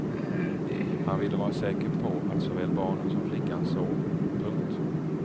Han ville vara säker på att såväl barnen som flickan sov. punkt